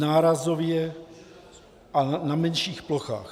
Nárazově a na menších plochách.